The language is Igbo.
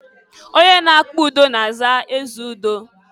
Onye na-akpa udo na-aza ezeudo.